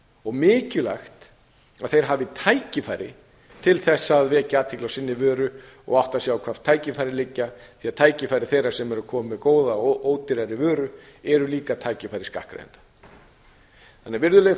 og mikilvægt að þeir hafi tækifæri til að vekja athygli á sinni vöru og átta sig á hvar tækifærin liggja því tækifæri þeirra sem eru komin með góða og ódýrari vöru eru líka tækifæri skattgreiðenda ég vonast til